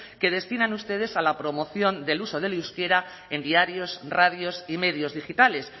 que destinan ustedes a la promoción del uso del euskera en diarios radios y medios digitales